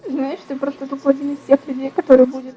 знаешь ты просто тупо один из тех людей которые будет